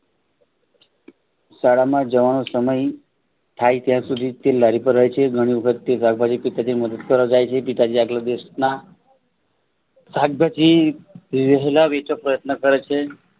શાળામાં જવાનો સમય થાય ત્યાં સુધી તે લારી પર રહે છે. ધણી વખત તે શાકભાજી પિતાજી ની મદદ કરવા જાય છે. પિતાજી આગળ દિવસના શાકભાજી રહેલા વેચવાના પ્રયત્ન કરે છે.